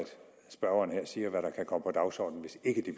spørgeren her siger hvad der kan komme på dagsordenen hvis ikke de